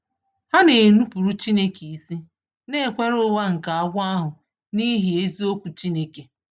Ha na-enupụrụ Chineke isi, na-ekwere ụgha nke agwọ ahụ n’ihi eziokwu Chineke.